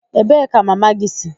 Ebee ka mama gị si?